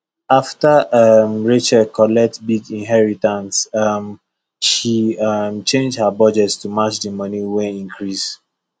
after um rachel collect big inheritance um she um change her budget to match the money wey increase